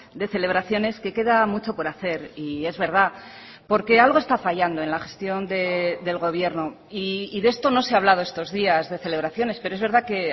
de celebraciones que queda mucho por hacer y es verdad porque algo está fallando en la gestión del gobierno y de esto no se ha hablado estos días de celebraciones pero es verdad que